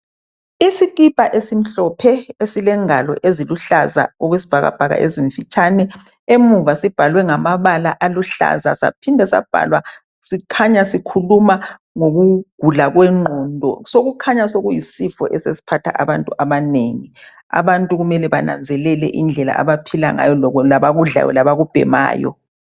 Isikipa esimhlophe esilengalo eziluhlaza okwesibhakabhaka ezimfitshane emuva sibhalwe ngamabala aluhlaza saphinda sabhalwa sikhanya sikhuluma ngokugula kwengqondo osokukhanya sokuyisifo esiphatha abantu abanengi abantu kumele bananzelele indlela abaphila ngayo labakudlayo labakubhemayo